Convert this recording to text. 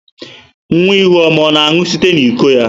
Nwa ihuoma ọ na-aṅụ site n'iko ya?